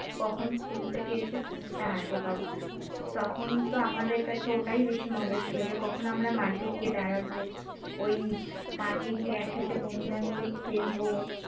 কখন school থেকে এসে phone টা হাতে পাব, তখন তো আমাদের কাছে ওটাই বেশি মজা ছিল যে কখন আমরা মাঠে গিয়ে দাঁড়াবো, ওই মাঠে গিয়ে একসাথে বন্ধুরা মিলে খেলব